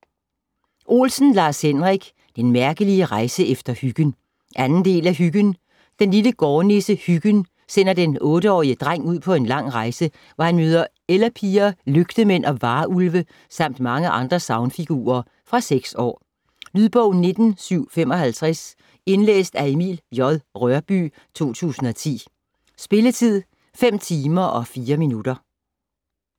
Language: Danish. Olsen, Lars-Henrik: Den mærkelige rejse efter Hyggen 2. del af Hyggen. Den lille gårdnisse Hyggen sender den 8-årige dreng ud på en lang rejse, hvor han møder ellepiger, lygtemænd og varulve samt mange andre sagnfigurer. Fra 6 år. Lydbog 19755 Indlæst af Emil J. Rørbye, 2010. Spilletid: 5 timer, 4 minutter.